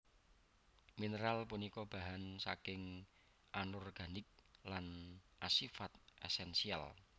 Mineral punika bahan saking Anorganik lan asifat esensial